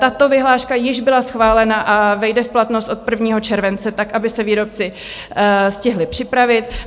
Tato vyhláška již byla schválena a vejde v platnost od 1. července tak, aby se výrobci stihli připravit.